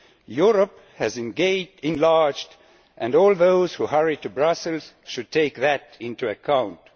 Europe has once again enlarged, and all those who hurry to Brussels should take that into account.